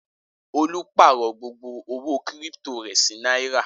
Olú pààrọ̀ gbogbo owó kírípító rẹ̀ sí náírà.